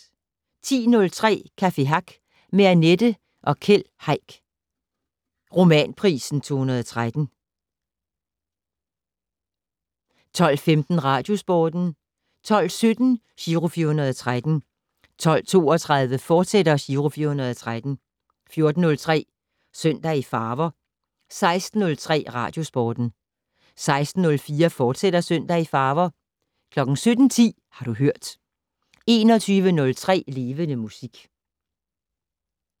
10:03: Café Hack med Annette og Keld Heick, Romanprisen 2013 12:15: Radiosporten 12:17: Giro 413 12:32: Giro 413, fortsat 14:03: Søndag i farver 16:03: Radiosporten 16:04: Søndag i farver, fortsat 17:10: Har du hørt 21:03: Levende Musik